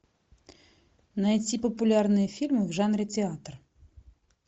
найти популярные фильмы в жанре театр